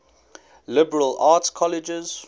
liberal arts colleges